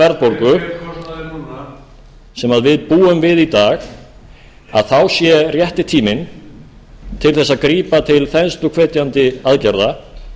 verðbólgu sem við búum við í dag að þá sé rétti tíminn til að grípa til þensluhvetjandi aðgerða